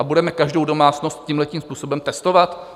A budeme každou domácnost tímhle způsobem testovat?